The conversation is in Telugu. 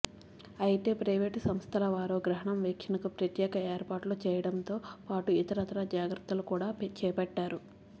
అయితే ప్రైవేటు సంస్థల వారు గ్రహణం వీక్షణకు ప్రత్యేక ఏర్పాట్లు చేయడంతో పాటు ఇతరత్రా జాగ్రత్తలు కూడా చేపట్టారు